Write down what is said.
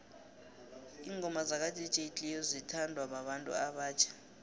ingoma zaka dj cleo zithondwa babantu obatjha